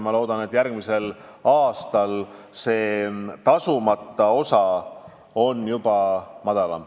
Ma loodan, et järgmisel aastal on see tasumata osa juba väiksem.